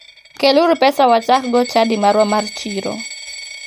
Kel uru pesa wachaggo chadi marwa mar chiro